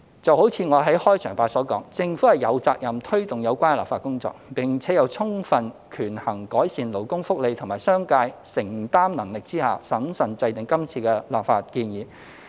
就如我在開場發言所說，政府有責任推動有關的立法工作，並且在充分權衡改善勞工福利及商界承擔能力之下，審慎制訂今次的立法建議。